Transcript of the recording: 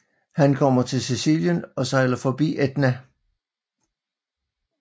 Han kommer til Sicilien og sejler forbi Etna